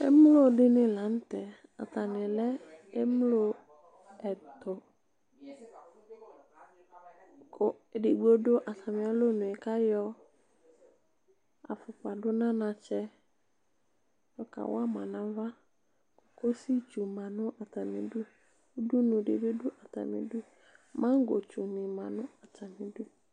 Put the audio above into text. Emlo di ni la n'tɛ, ata ni lɛ emlo ɛtu Ku edigbo du atami alo nue k'ayɔ afukpa du n'anatsɛ yɔ ka wa ma n'aʋa k'uzi tsu ma nu atami du Udunu di bi du atami du, magɔ tsu ni ma nu atami du